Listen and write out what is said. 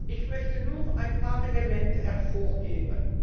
Ich möchte nur ein paar Elemente hervorheben.